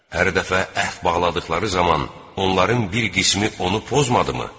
Hər dəfə əhd bağladıqları zaman onların bir qismi onu pozmadımı?